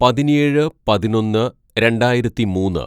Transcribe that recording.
"പതിനേഴ് പതിനൊന്ന് രണ്ടായിരത്തിമൂന്ന്‌